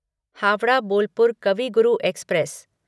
Howrah Bolpur Kavi Guru express